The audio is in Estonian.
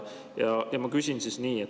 Ja ma küsin siis nii.